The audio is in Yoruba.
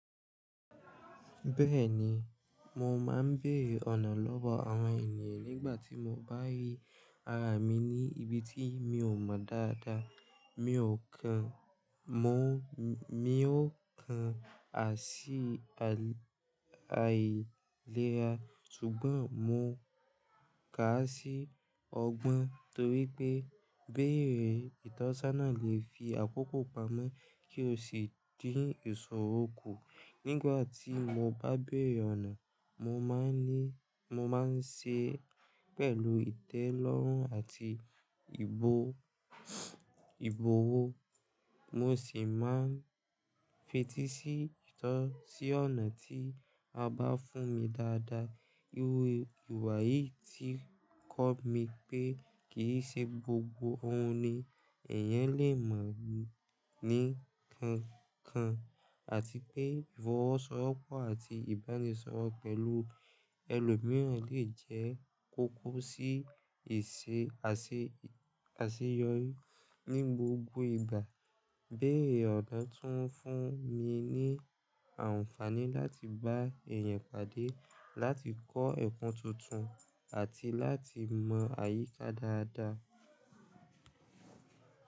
Bẹ́ẹ̀ni, mo máa ń béèrè ọ̀nà lọ́wọ́ àwọn ènìyàn nígbàtí mo bá rí ara mi ní ibi tí mi ò mọ dáadáa. Mi ò kan, mo, mi ó kan à sí àìlera ṣùgbọ́n mo kà á sí ọgbọ́n torípẹ́ béèrè ìtọ́sọ́nà lè fi àkókò pamọ́ kí o sì dín ìṣòro kù. Nígbàtí mo bá béèrè ọ̀nà, mo máa ń ní, mo máa ń ṣe é pẹ̀lú ìtẹ́lọ́rùn àti ìbò, ìbòwó. Mo sì máa ń fetí sí ìtọ́ sí ọ̀nà tí a bá fún mi dáadáa. Iru ìwà yìí ti kọ́ mi pé kì í ṣe gbogbo ohun ni èèyàn lè mọ̀ ní kankan àti pé ìfọwọ́sowọ́pọ̀ àti ìbánisọ̀rọ̀ pẹ̀lú ẹlòmíràn lè jẹ́ kókó sí ìṣe, àṣeyọrí ní gbogbo ìgbà. Béèrè ọ̀nà tún fún mi ní àǹfààní láti bá èèyàn pàdé, láti kọ́ ẹ̀kọ́ tuntun àti láti mọ̀ àyíká dáadáa.